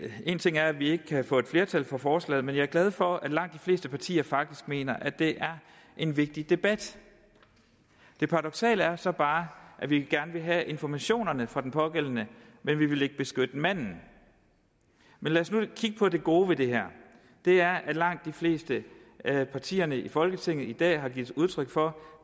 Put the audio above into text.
en ting er at vi ikke kan få et flertal for forslaget men jeg er glad for at langt de fleste partier faktisk mener at det er en vigtig debat det paradoksale er så bare at vi gerne vil have informationerne fra den pågældende men vi vil ikke beskytte manden men lad os nu kigge på det gode ved det her det er at langt de fleste af partierne i folketinget i dag har givet udtryk for